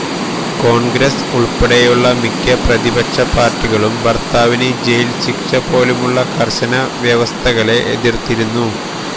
കോൺഗ്രസ് ഉൾപ്പെടെയുള്ള മിക്ക പ്രതിപക്ഷ പാർട്ടികളും ഭർത്താവിന് ജയിൽ ശിക്ഷ പോലുള്ള കർശന വ്യവസ്ഥകളെ എതിർത്തിരുന്നു